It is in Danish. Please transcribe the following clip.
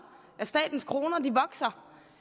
af statens kroner vokser det